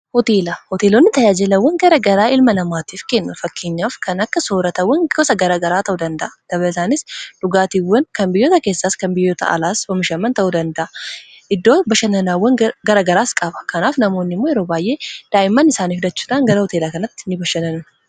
hoteelonni tajaajilawwan gara garaa ilma namaatiif kennu fakkeenyaaf kan akka sooratawwan gosa garagaraa ta'uu danda'a dabalatanis dhugaatiiwwan kan biyyoota keessaas kan biyyoota alaas omishaman ta'uu danda'a iddoo bashananaawwan garagaraas qaba kanaaf namoonni immoo yeroo baay'ee daa'imman isaanii fudhachuudhan gara hoteelaa kanatti ni bashananu.